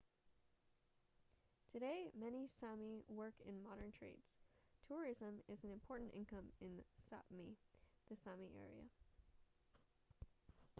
today many sámi work in modern trades. tourism is an important income in sápmi the sámi area